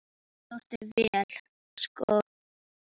Þú stóðst þig vel, skoraðir ótal mörk.